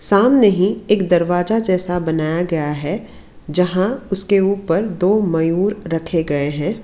सामने ही एक दरवाजा जैसा बनाया गया है जहां उसके ऊपर दो मयूर रखे गए हैं।